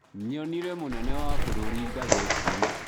Nyonĩre mũnene wa bũrũri ngathĩti-inĩ.